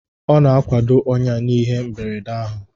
Ọ na-akwado ọnya n'ihe mberede ahụ